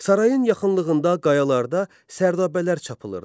Sarayın yaxınlığında qayalarda sərdabələr çapılırdı.